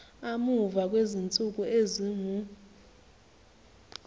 amuva kwezinsuku ezingu